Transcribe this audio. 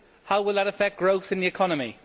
How will that affect growth in the economy?